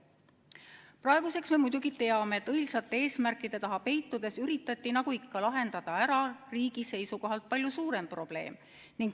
Praeguseks me muidugi teame, et õilsate eesmärkide taha peitudes üritati lahendada ära riigi seisukohalt palju suurem probleem.